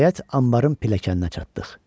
Nəhayət anbarın pilləkəninə çatdıq.